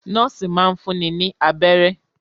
Nọ́ọ́sì máa ń fúnni ní abẹ́rẹ́.